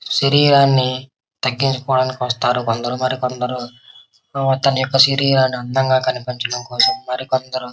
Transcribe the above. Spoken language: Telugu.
శరీరాన్ని తగ్గించుకోవడానికి వస్తారు కొందరు . మరి కొందరు తమ యొక్క శరీరాన్ని అందంగా కనిపించడం కోసం మరికొందరు--